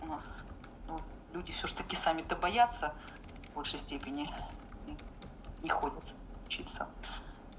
у нас люди всё ж таки сами-то боятся в большей степени не ходят учиться